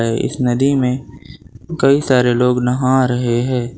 ये इस नदी में कई सारे लोग नहा रहे है।